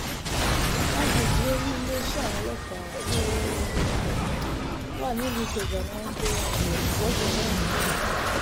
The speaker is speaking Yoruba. àgbègbè olú iléeṣẹ́ àwọn ọlọ́pàá tó um wà nílùú ikeja ni wọ́n gbé um ìwọ́de náà gbà